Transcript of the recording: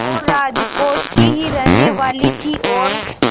वो राजकोट की ही रहने वाली थीं और